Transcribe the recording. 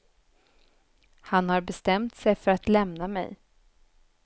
Han har bestämt sig för att lämna mig.